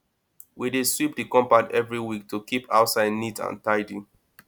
we dey sweep the compound every week to keep outside neat and tidy